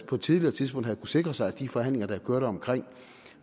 på et tidligere tidspunkt havde sikre sig at de forhandlinger der kørte omkring